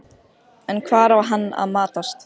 Reinhart, hvaða stoppistöð er næst mér?